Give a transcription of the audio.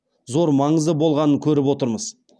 зор маңызы болғанын көріп отырмыз